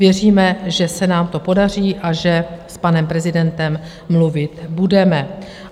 Věříme, že se nám to podaří a že s panem prezidentem mluvit budeme.